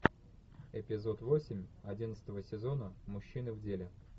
эпизод восемь одиннадцатого сезона мужчины в деле